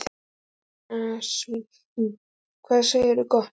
Góðan daginn svín, hvað segirðu gott?